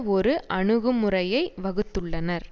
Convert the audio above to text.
ஒரு அணுகுமுறையை வகுத்துள்ளனர்